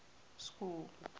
school